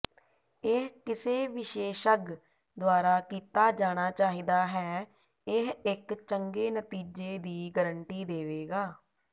ਇਹ ਕਿਸੇ ਵਿਸ਼ੇਸ਼ੱਗ ਦੁਆਰਾ ਕੀਤਾ ਜਾਣਾ ਚਾਹੀਦਾ ਹੈ ਇਹ ਇੱਕ ਚੰਗੇ ਨਤੀਜੇ ਦੀ ਗਾਰੰਟੀ ਦੇਵੇਗਾ